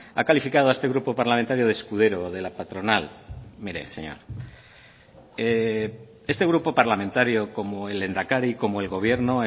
ha calificado a este grupo parlamentario de escudero de la patronal mire señor este grupo parlamentario como el lehendakari como el gobierno